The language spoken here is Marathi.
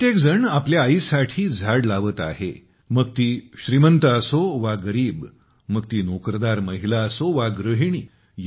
प्रत्येकजण आपल्या आईसाठी झाडे लावत आहे - मग ती श्रीमंत असो वा गरीब मग ती नोकरदार महिला असो वा गृहिणी